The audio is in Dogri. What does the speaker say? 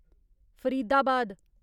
फरीदाबाद